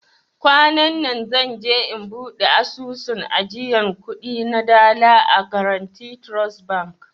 Kwananna zan je in bude asusun ajiyan kudi na dala a " guarantee trust bank".